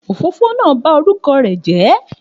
Òfófó náà ba orúkọ rẹ̀ jẹ́